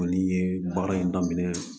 Kɔni ye baara in daminɛ